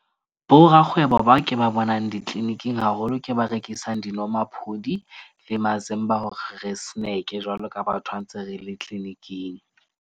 Borakgwebo ba ke ba bonang ditliliniking haholo ke ba rekisang dinomaphodi le mazimba hore re snack-e jwalo ka batho ha ntse re le clinic-ing.